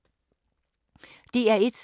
DR1